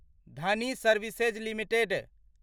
Dhoni services limited